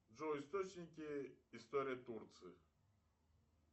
джой источники истории турции